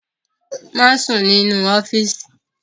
Má sùn nínú ọ́fíìsì!